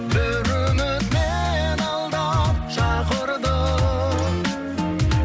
бір үміт мені алдап шақырды